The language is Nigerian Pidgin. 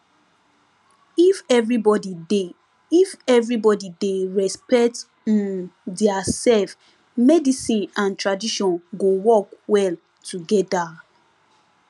if everybody dey if everybody dey respect um diasef medicine and tradition go work well togeda